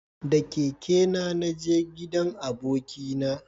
Da keke na naje gidan abokina